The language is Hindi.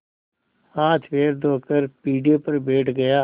हाथपैर धोकर पीढ़े पर बैठ गया